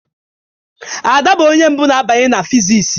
Ada bụ onye mbụ na-abanye na physics.